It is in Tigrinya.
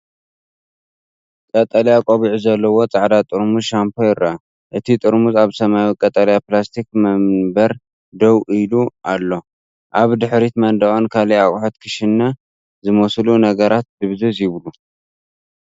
ቀጠልያ ቆቢዕ ዘለዎ ጻዕዳ ጥርሙዝ ሻምፖ ይርአ። እቲ ጥርሙዝ ኣብ ሰማያዊ ቀጠልያ ፕላስቲክ መንበር ደው ኢሉ ኣሎ። ኣብ ድሕሪት መንደቕን ካልእ ኣቕሑ ክሽነ ዝመስሉ ነገራትን ድብዝዝ ይብሉ።